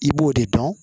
I b'o de dɔn